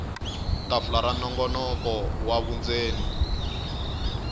tafula ra nongonoko wa vundzeni